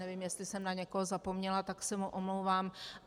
Nevím, jestli jsem na někoho zapomněla, tak se mu omlouvám.